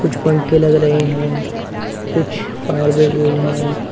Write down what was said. कुछ पंखे लग रहे हैं कुछ फायर ब्रिगेड है।